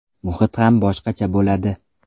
Muhit ham boshqacha bo‘ladi.